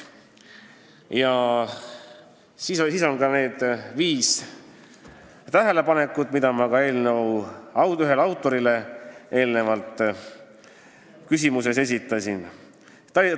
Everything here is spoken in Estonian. Ja siis nimetati veel need viis tähelepanekut, mida ma enne mainisin eelnõu ühele autorile esitatud küsimuses.